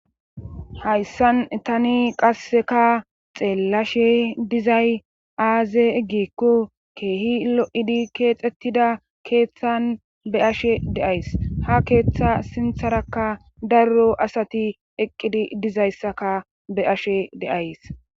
hayssan tani qasseka xeellashe dizay aaze eggikko keehi lo7idi keexettida keeththan be ashe deays ha keeththa sintharakka darro asati eqqidi dizayssaka be'ashe de'ays